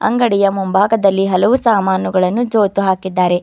ಅಂಗಡಿಯ ಮುಂಭಾಗದಲ್ಲಿ ಹಲವು ಸಾಮಾನುಗಳನ್ನು ಜೋತು ಹಾಕಿದ್ದಾರೆ.